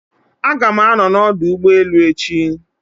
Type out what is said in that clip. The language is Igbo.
Aga m anọ na ọdụ ụgbọ elu echi